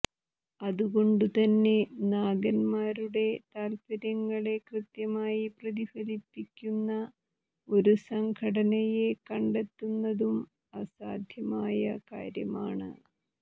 അതുകൊണ്ടുതന്നെ നാഗന്മാരുടെ താത്പര്യങ്ങളെ കൃത്യമായി പ്രതിഫലിപ്പിക്കുന്ന ഒരു സംഘടനയെ കണ്ടെത്തുന്നതും അസാധ്യമായ കാര്യമാണ്